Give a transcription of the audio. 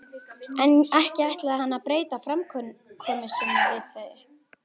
En ekki ætlaði hann að breyta framkomu sinni við þau.